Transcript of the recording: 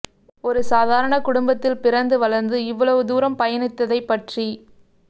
ஒரு சாதாரண குடும்பத்தில் பிறந்து வளர்ந்து இவ்வளவு தூரம் பயணித்ததைப் பற்றி